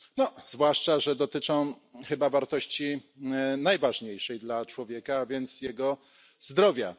No zwłaszcza, że dotyczą chyba wartości najważniejszej dla człowieka, a więc jego zdrowia.